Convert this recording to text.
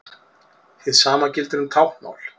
Hið sama gildir um táknmál.